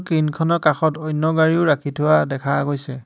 Crane খনৰ কাষত অন্য গাড়ীও ৰাখি থোৱা দেখা গৈছে।